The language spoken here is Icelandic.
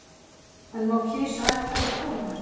En má kisa ættleiða konu